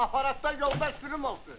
Aparatda yolda sürüm olsun.